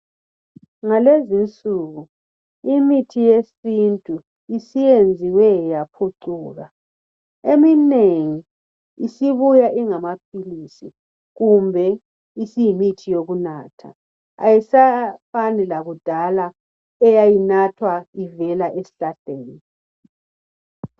Ngalezi insuku imithi yesintu isiyenziwe yaphucuka eminengi isibuya ingamapills kumbe isiyimithi yokunatha ayisafani lakudala eyayinathwa ivelwa esihlahleni